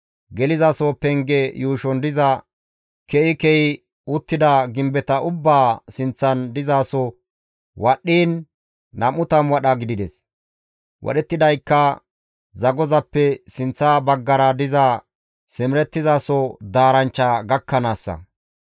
Gelizaso penge yuushon diza ke7i ke7i uttida gimbeta ubbaa sinththan dizasoza wadhdhiin 20 wadha gidides; wadhettidaykka zagozappe sinththa baggara diza simerettizaso daaranchcha gakkanaassa.